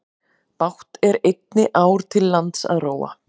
Bágt er einni ár til lands að róa.